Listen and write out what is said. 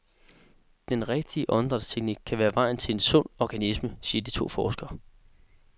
Den rigtige åndedrætsteknik kan være vejen til en sund organisme, siger to forskere.